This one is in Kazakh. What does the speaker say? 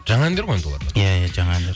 жаңа әндер ғой иә иә жаңа әндер